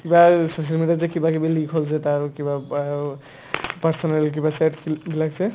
কিবাও social media ত যে কিবাকিবি leak হ'ল যে তাৰ কিবা personal কিবা chat খি বিলাক যে